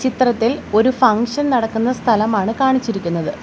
ചിത്രത്തിൽ ഒരു ഫംഗ്ഷൻ നടക്കുന്ന സ്ഥലമാണ് കാണിച്ചിരിക്കുന്നത്.